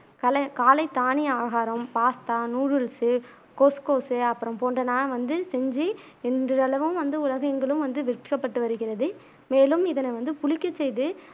கல காலை தானிய ஆகாரம் பாஸ்த்தா நூடுல்ஸ் கொஸ்கோஸ் அப்புறம் போன்றன வந்து செஞ்சு இது வந்து அளவும் வந்து உலகெங்கிலும் வந்து விற்கப்பட்டு வருகிறது மேலும் இதனை வந்து புளிக்க செய்து